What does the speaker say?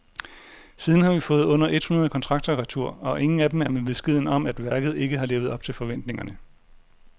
Siden har vi fået under et hundrede kontrakter retur, og ingen af dem er med beskeden om, at værket ikke har levet op til forventningerne.